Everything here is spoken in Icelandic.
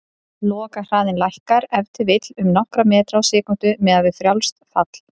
Lokahraðinn lækkar ef til vill um nokkra metra á sekúndu, miðað við frjálst fall.